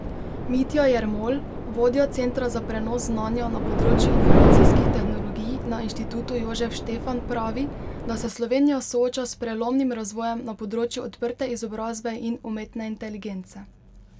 Mitja Jermol, vodja Centra za prenos znanja na področju informacijskih tehnologij na Inštitutu Jožef Štefan pravi, da se Slovenija sooča s prelomnim razvojem na področju odprte izobrazbe in umetne inteligence.